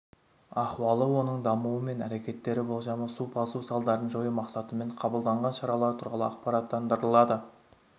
ахуалы оның дамуы мен әрекеттер болжамы су басу салдарын жою мақсатымен қабылданған шаралар туралы ақпараттандырылады